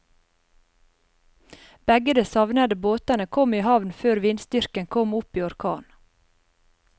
Begge de savnede båtene kom i havn før vindstyrken kom opp i orkan.